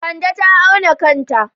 Kande ta auna kanta.